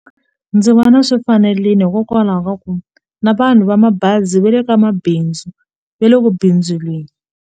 Ndzi vona swi fanerile hikokwalaho ka ku na vanhu va mabazi va le ka mabindzu ve le ku bindzuleni.